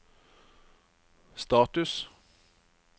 status